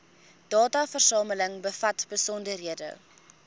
dataversameling bevat besonderhede